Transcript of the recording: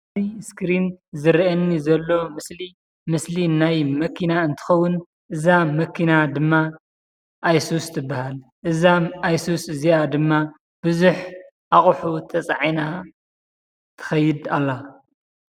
ኣብ እስክሪን ዝረአየኒ ዘሎ ምስሊ ምስሊ ናይ መኪና እንትከውን እዛ መኪና ድማ ኣይሱስ ትባሃል፡፡ እዛ ኣይሱስ እዚኣ ድማ ቡዙሕ ኣቅሑ ተፃዒና ትከይድ ኣላ፡፡